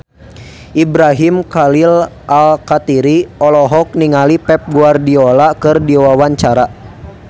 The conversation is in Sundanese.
Ibrahim Khalil Alkatiri olohok ningali Pep Guardiola keur diwawancara